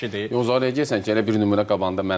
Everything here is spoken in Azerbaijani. Yox zarına deyirsən ki, elə bir nümunə qabağında mənəm də.